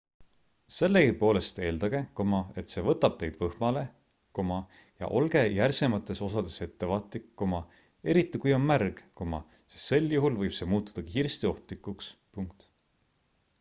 sellegipoolest eeldage et see võtab teid võhmale ja olge järsemates osades ettevaatlik eriti kui on märg sest sel juhul võib see muutuda kiiresti ohtlikuks